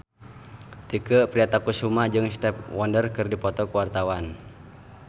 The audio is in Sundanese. Tike Priatnakusuma jeung Stevie Wonder keur dipoto ku wartawan